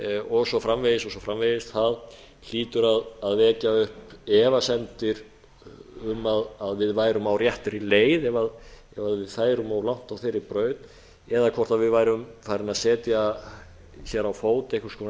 og svo framvegis og svo framvegis það hlýtur að vekja upp efasemdir um að við erum á réttri leið ef við færum of langt á þeirri braut eða hvort við værum farin að setja hér á fót einhvers konar